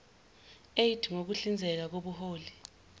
eidd ngukuhlinzeka ngobuholi